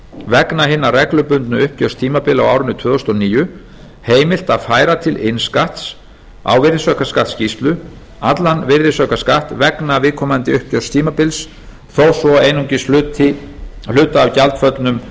vegna hinna reglubundnu uppgjörstímabila á árinu tvö þúsund og níu heimilt að færa til innskatts á virðisaukaskattsskýrslu allan virðisaukaskatt vegna viðkomandi uppgjörstímabils þó svo einungis hluta af gjaldföllnum